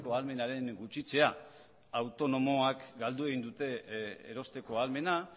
ahalmenaren gutxitzea autonomoek galdu egin dute erosteko ahalmena